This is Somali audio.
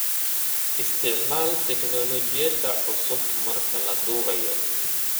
Isticmaal tignoolajiyada cusub marka la duubayo.